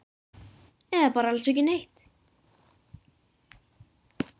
Eða bara alls ekki neitt?